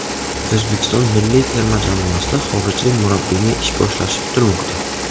O‘zbekiston milliy terma jamoasida xorijlik murabbiyning ish boshlashi kutilmoqda.